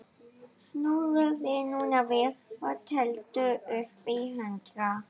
Snúðu þér núna við og teldu upp í hundrað.